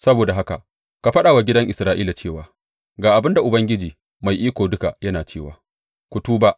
Saboda haka ka faɗa wa gidan Isra’ila cewa, Ga abin da Ubangiji Mai Iko Duka yana cewa ku tuba!